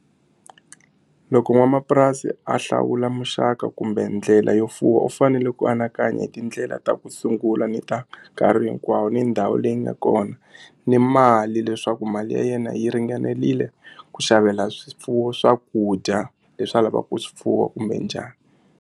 Loko n'wamapurasi a hlawula muxaka kumbe ndlela yo fuwa u fanele ku anakanya hi tindlela ta ku sungula ni ta nkarhi hinkwawo ni ndhawu leyi nga kona ni mali leswaku mali ya yena yi ringanerile ku xavela swifuwo swakudya leswi a lavaka ku swi fuwa kumbe njhani.